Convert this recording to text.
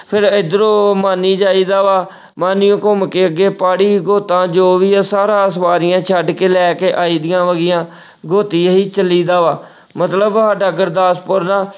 ਫਿਰ ਇੱਧਰੋਂ ਮਾਨੀ ਜਾਈਦਾ ਵਾ ਮਾਨੀਓ ਘੁੰਮ ਕੇ ਅੱਗੇ ਪਾੜੀ ਜੋ ਵੀ ਹੈ ਸਾਰਾ ਸ਼ਵਾਰੀਆਂ ਛੱਡ ਕੇ ਲੈ ਕੇ ਆਈਦੀਆਂ ਹੈਗੀਆਂ ਚੱਲੀਦਾ ਵਾ ਮਤਲਬ ਸਾਡਾ ਗੁਰਦਾਸਪੁਰ ਨਾ